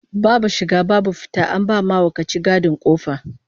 Babu shiga babu fita, an ba mahaukaci gadin kofa